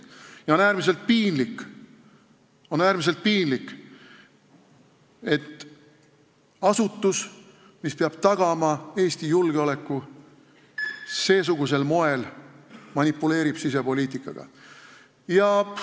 Ja on äärmiselt piinlik, et asutus, mis peab seesugusel moel tagama Eesti julgeoleku, manipuleerib sisepoliitikaga.